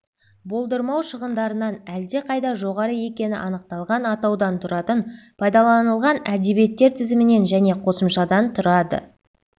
болдырмау шығындарынан әлде қайда жоғары екені анықталған атаудан тұратын пайдаланылған әдебиеттер тізімінен және қосымшадан тұрады